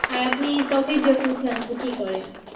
আর আপনি ত্বকের যত্নে সাধারণত কি করেন?